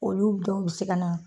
Olu denw bi se ka na